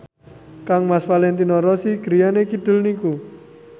kangmas Valentino Rossi griyane kidul niku